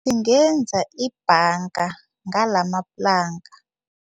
Singenza ibhanga ngalamaplanka.